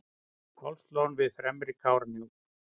hálslón við fremri kárahnjúk